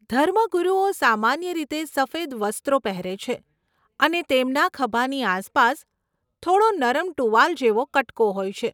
ધર્મગુરુઓ સામાન્ય રીતે સફેદ વસ્ત્રો પહેરે છે અને તેમના ખભાની આસપાસ થોડો નરમ ટુવાલ જેવો કટકો હોય છે.